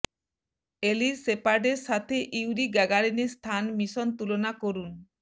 এলির শেপার্ডের সাথে ইউরি গ্যাগারিনের স্থান মিশন তুলনা করুন